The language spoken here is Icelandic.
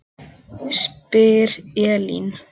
spyr Elín.